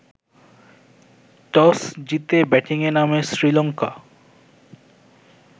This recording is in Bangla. টস জিতে ব্যাটিংয়ে নামে শ্রীলঙ্কা